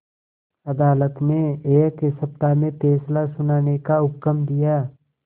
अदालत ने एक सप्ताह में फैसला सुनाने का हुक्म दिया